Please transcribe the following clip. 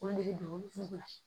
Olu de bɛ don sugu la